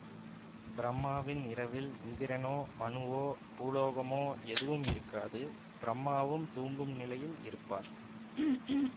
பிரம்மாவின் இரவில் இந்திரனோ மனுவோ பூலோகமோ எதுவும் இருக்காது பிரம்மாவும் தூங்கும் நிலையில் இருப்பார்